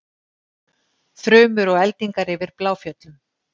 Þrumur og eldingar yfir Bláfjöllum